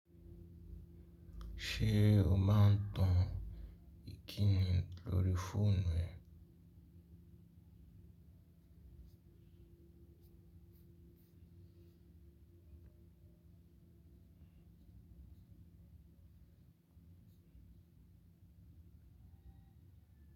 Ṣé o máa ń tan ìkíni lórí fóònù ẹ?